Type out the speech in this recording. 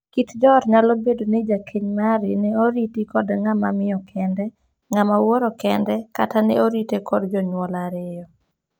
Kit joot nyalo bedo ni jakeny mari ne oriti kod ng'ama miyo kende, ng'ama wuoro kende, kata ne orite kod jonyuol ariyo.